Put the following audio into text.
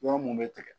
Yɔrɔ mun be tigɛ